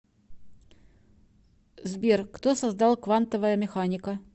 сбер кто создал квантовая механика